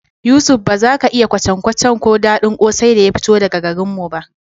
Yusuf, ba za ka iya kwacen-kwacen ko daɗin kwosai da ya fito daga garin mu ba